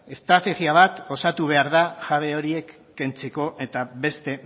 estrategia bat osatu behar da jabe horiek kentzeko eta beste